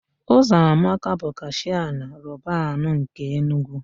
Ụzọamaka bụ kashịa na Robanu nke Enugwu.